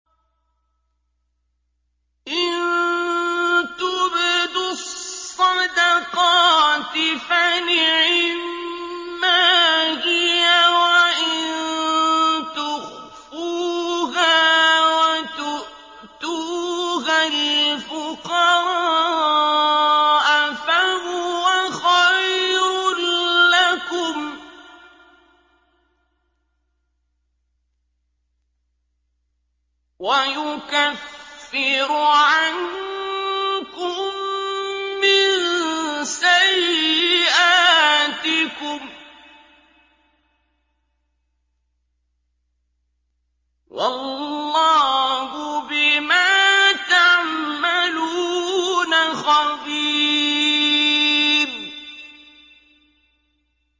إِن تُبْدُوا الصَّدَقَاتِ فَنِعِمَّا هِيَ ۖ وَإِن تُخْفُوهَا وَتُؤْتُوهَا الْفُقَرَاءَ فَهُوَ خَيْرٌ لَّكُمْ ۚ وَيُكَفِّرُ عَنكُم مِّن سَيِّئَاتِكُمْ ۗ وَاللَّهُ بِمَا تَعْمَلُونَ خَبِيرٌ